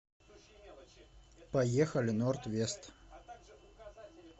поехали норд вест